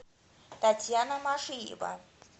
татьяна машиева